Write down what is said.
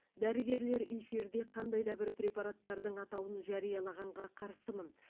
дәрігерлер эфирде қандай да бір препараттардың атауын жариялағанға қарсымын